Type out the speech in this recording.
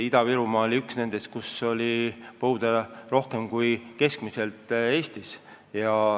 Ida-Virumaa oli üks nendest maakondadest, kus põud oli suurem kui keskmiselt Eestis.